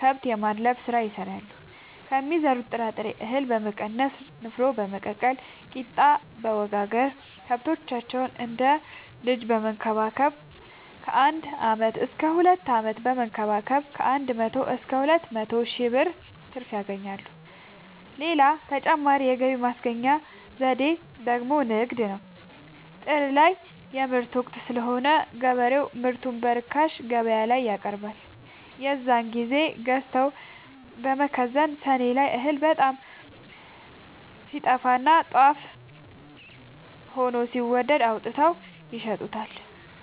ከብት የማድለብ ስራ ይሰራሉ ከሚዘሩት ጥራጥሬ እሀል በመቀነስ ንፋኖ በመቀቀል ቂጣበወጋገር ከብቶቻቸውን እንደ ልጅ በመከባከብ ከአንድ አመት እስከ ሁለት አመት በመንከባከብ ከአንድ መቶ እስከ ሁለት መቶ ሺ ብር ትርፍ ያገኛሉ። ሌላ ተጨማሪ የገቢ ማስገኛ ዘዴ ደግሞ ንግድ ነው። ጥር ላይ የምርት ወቅት ስለሆነ ገበሬው ምርቱን በርካሽ ገበያላይ ያቀርባል። የዛን ግዜ ገዝተው በመከዘን ሰኔ ላይ እህል በጣም ሲጠፋና ጦፍ ሆኖ ሲወደድ አውጥተው ይሸጡታል።